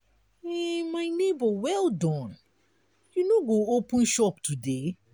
my nebor well done you no go open shop today?